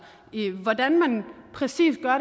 hvordan man præcis gør